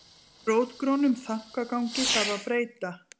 Rótgrónum þankagangi þarf að breyta